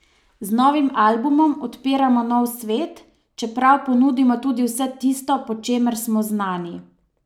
Z novim albumom odpiramo nov svet, čeprav ponudimo tudi vse tisto, po čemer smo znani.